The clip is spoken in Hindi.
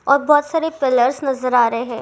और बहुत सरे पिलरस नजर आ रहे है।